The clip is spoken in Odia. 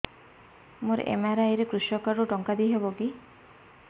ମୋର ଏମ.ଆର.ଆଇ ରେ କୃଷକ କାର୍ଡ ରୁ ଟଙ୍କା ଦେଇ ହବ କି